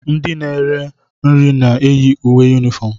Ndị na ere nri na-eyi uwe unifom.